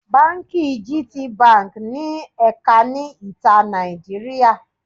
Báńkì gtbank ní ẹ̀ka ní ìta Nàìjíríà.